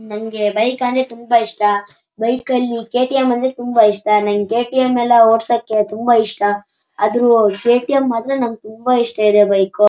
ನಮಗೆ ಬೈಕ್ ಅಂದ್ರೆ ತುಂಬಾ ಇಷ್ಟ ಬೈಕ ಲ್ಲಿ ಕೆ.ಟಿ.ಎಂ ಎಲ್ಲ ತುಂಬಾ ಇಷ್ಟ ನಂಗ ಕೆ.ಟಿ.ಎಮ್ ‌ಅಲ್ಲಾ ಓಡ್ಸೋಕೆ ತುಂಬಾ ಇಷ್ಟ ಅದು ಕೆ.ಟಿ.ಎಂ ಮಾತ್ರ ತುಂಬಾ ಇಷ್ಟ ಇದೆ ಬೈಕು .